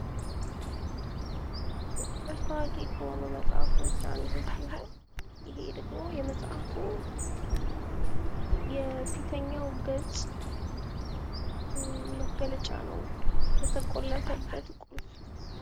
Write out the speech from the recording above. በርስታግ ኮሆኖ መጽሐፎች አንዱ ሲሆን ይሄ ደግሞ የመጽሐፉ የፊተኛው ገፅ መገለጫ ነው ለተቆለፈበት ቁልፍ